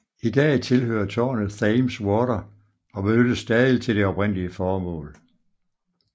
I dag tilhører tårnet Thames Water og benyttes stadig til det oprindelige formål